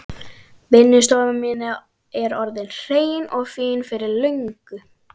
Vinnustofan mín er orðin hrein og fín fyrir löngu.